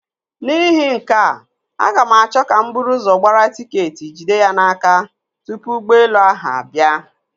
N'ihi nke a, aga m achọ ka m buru gbara tiketi jide ya n'aka tupu ụgbọelu ahụ abịa.